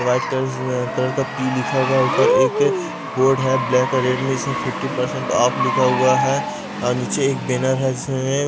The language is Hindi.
वाइट कलर कलर का पी लिखा हुआ है ऊपर एक बोर्ड है ब्लैक और रेड में जिसमें फिफ़्टी परसेंट ऑफ लिखा हुआ है और नीचे एक बैनर है जिसमें --